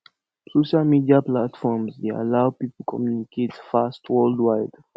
social media platforms dey allow people communicate fast worldwide